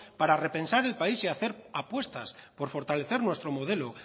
para repensar el país y hacer apuestas por fortalecer nuestro modelo